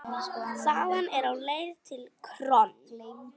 Þaðan lá leiðin til KRON.